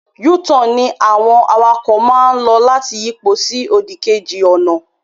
U-turn ní àwọn awakọ̀ máa lò láti yipo sí òdì kejì ọ̀nà